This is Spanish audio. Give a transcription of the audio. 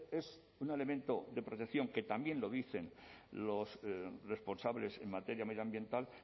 es un elemento de protección que también lo dicen los responsables en materia medioambiental